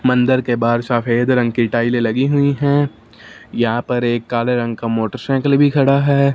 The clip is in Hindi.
मंदर के बाहर सफेद रंग की टाइले लगी हुई है यहां पर एक काले रंग का मोटरसाइकिल भी खड़ा है।